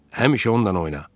Həmişə onunla oyna.